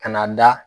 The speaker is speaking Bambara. Ka n'a da